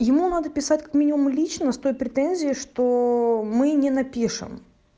ему надо писать как минимум и лично с той претензией что мы не напишем